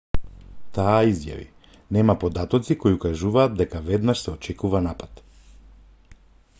таа изјави нема податоци кои укажуваат дека веднаш се очекува напад